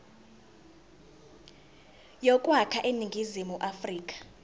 yokwakha iningizimu afrika